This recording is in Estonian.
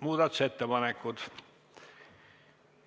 muudatusettepanekud.